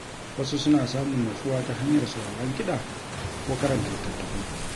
Wasu suna samun natsuwa ta hanyar sauraron kiɗa ko karanta littattafai.